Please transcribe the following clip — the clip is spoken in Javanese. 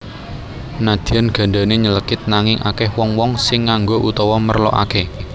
Nadyan gandane nylekit nanging akeh wong wong sing nganggo utawa merlokake